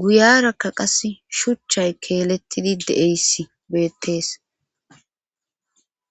guyarakka qas shuchchay keelettidi de7eyssi beettees